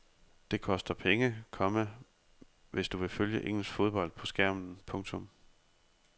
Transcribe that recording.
Det koster penge, komma hvis du vil følge engelsk fodbold på skærmen. punktum